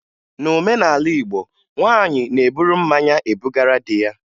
N'omenala Igbo, nwaanyị na-eburu mmanya ebugara di ya